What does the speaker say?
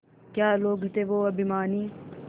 क्या लोग थे वो अभिमानी